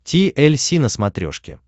ти эль си на смотрешке